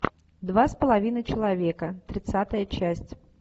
два с половиной человека тридцатая часть